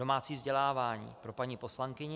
Domácí vzdělávání - pro paní poslankyni.